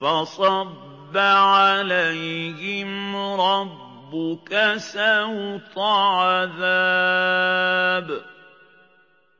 فَصَبَّ عَلَيْهِمْ رَبُّكَ سَوْطَ عَذَابٍ